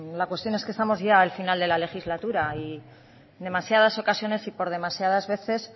la cuestión es que estamos ya al final de la legislatura y demasiadas ocasiones y por demasiadas veces